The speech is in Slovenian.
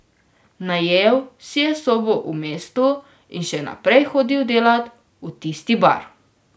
Najel si je sobo v mestu in še naprej hodil delat v tisti bar.